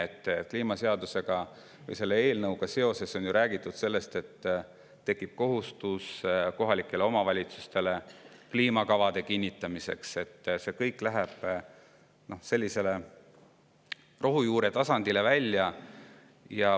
Kliima seaduse eelnõuga seoses on räägitud sellest, et kohalikel omavalitsustel tekib kohustus kinnitada kliimakavad ja et see läheb rohujuure tasandini välja.